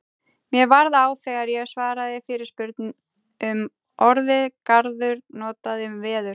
Mér varð á þegar ég svaraði fyrirspurn um orðið garður notað um veður.